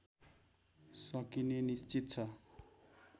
सकिने निश्चित छ